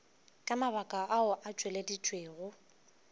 ka mabaka ao a tšweleditšwego